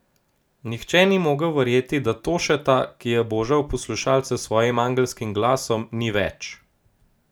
Nihče ni mogel verjeti, da Tošeta, ki je božal poslušalce s svojim angelskim glasom, ni več.